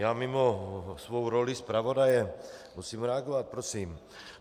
Já mimo svou roli zpravodaje musím reagovat prosím.